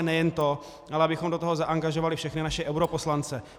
A nejen to, ale abychom do toho zangažovali všechny naše europoslance.